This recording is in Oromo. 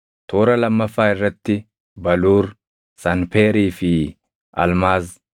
toora lammaffaa irratti baluur, sanpeerii fi almaaz;